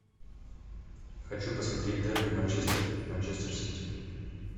хочу посмотреть дерби манчестер манчестер сити